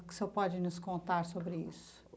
O que o senhor pode nos contar sobre isso?